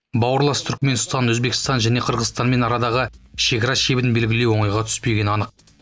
бауырлас түркіменстан өзбекстан және қырғызстанмен арадағы шекара шебін белгілеу оңайға түспегені анық